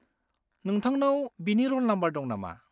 नोंथांनाव बिनि र'ल नाम्बार दं नामा?